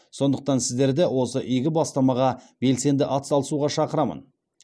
сондықтан сіздерді осы игі бастамаға белсенді атсалысуға шақырамын